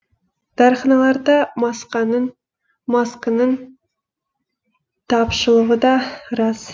дәріханаларда масканың тапшылығы да рас